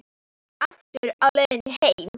Aftur á leið heim.